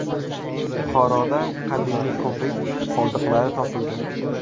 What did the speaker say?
Buxoroda qadimiy ko‘prik qoldiqlari topildi.